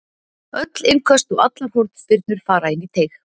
Öll innköst og allar hornspyrnur fara inn í teig.